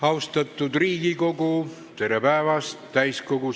Austatud Riigikogu, tere päevast!